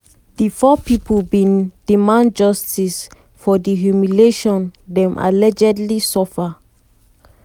di four pipo bin demand justice for di humiliation dem allegedly suffer.